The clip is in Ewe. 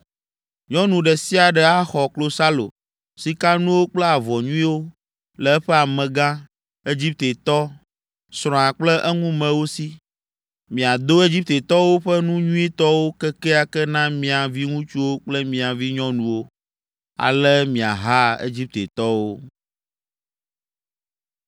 Nyɔnu ɖe sia ɖe axɔ klosalo, sikanuwo kple avɔ nyuiwo le eƒe amegã, Egiptetɔ, srɔ̃a kple eŋumewo si. Miado Egiptetɔwo ƒe nu nyuitɔwo kekeake na mia viŋutsuwo kple mia vinyɔnuwo! Ale miaha Egiptetɔwo.”